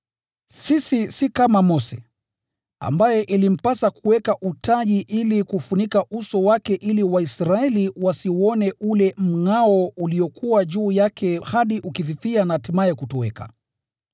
Sisi si kama Mose, ambaye ilimpasa kuweka utaji ili kufunika uso wake ili Waisraeli wasiuone ule mngʼao uliokuwa juu yake hadi ulipofifia na hatimaye kutoweka.